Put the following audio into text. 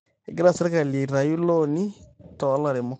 egira sirkali aitayu ilooni too ilairemok